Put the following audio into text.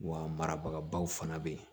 Wa marabagaw fana bɛ yen